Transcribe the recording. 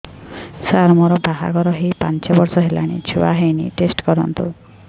ସାର ମୋର ବାହାଘର ହେଇ ପାଞ୍ଚ ବର୍ଷ ହେଲାନି ଛୁଆ ହେଇନି ଟେଷ୍ଟ କରନ୍ତୁ